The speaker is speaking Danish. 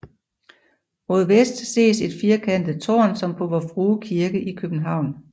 Mod vest ses et firkantet tårn som på Vor Frue kirke i København